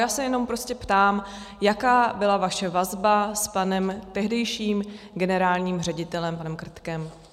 Já se jenom prostě ptám, jaká byla vaše vazba s panem tehdejším generálním ředitelem panem Krtkem.